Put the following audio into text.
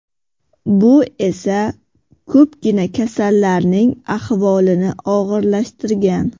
Bu esa ko‘pgina kasallarning ahvolini og‘irlashtirgan.